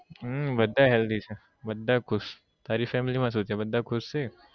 હમ બધા healthy છે બધા ખુશ તારી family માં શું છે બધા ખુશ છે